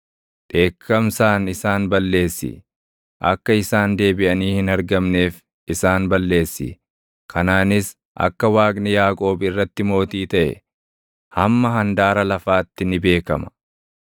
dheekkamsaan isaan balleessi; akka isaan deebiʼanii hin argamneef isaan balleessi. Kanaanis akka Waaqni Yaaqoob irratti mootii taʼe, hamma handaara lafaatti ni beekama.